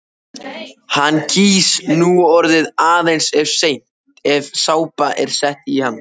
Hann gýs núorðið aðeins ef sápa er sett í hann.